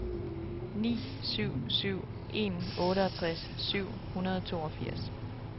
ni syv syv en otteogtres syv hundrede og toogfirs